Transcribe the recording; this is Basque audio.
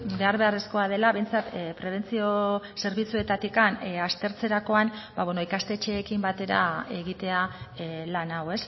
behar beharrezkoa dela behintzat prebentzio zerbitzuetatik aztertzerakoan ikastetxeekin batera egitea lan hau